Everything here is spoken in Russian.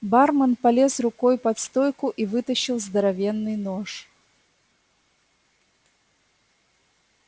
бармен полез рукой под стойку и вытащил здоровенный нож